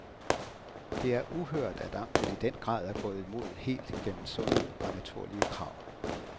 Det er uhørt at amtet i den grad er gået imod helt igennem sunde og naturlige krav.